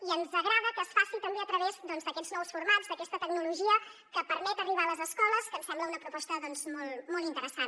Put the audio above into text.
i ens agrada que es faci també a través d’aquests nous formats d’aquesta tecnologia que permet arribar a les escoles que ens sembla una proposta molt molt interessant